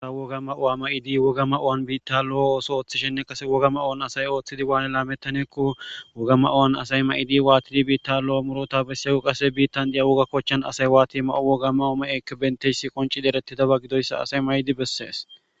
asa wogama owa ma7idi wogama owan biitta lo7 oso ooththishenne qase wogama owan asay ooththidi waane laamettaneekko wogama owan asay ma7idi waatidi biitta lo7o murota besseko qase biittan diya woga kochchan asay waati ma7o wogama ooma7ek benteyssi qonci deretti daba gidoyssa asay may7idi bessees